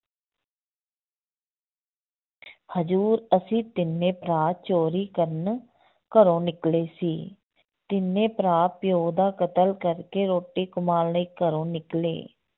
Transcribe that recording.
ਹਜ਼ੂਰ ਅਸੀਂ ਤਿੰਨੇ ਭਰਾ ਚੋਰੀ ਕਰਨ ਘਰੋਂ ਨਿਕਲੇ ਸੀ, ਤਿੰਨੇ ਭਰਾ ਪਿਓ ਦਾ ਕਤਲ ਕਰਕੇ ਰੋਟੀ ਕਮਾਉਣ ਲਈ ਘਰੋਂ ਨਿਕਲੇ।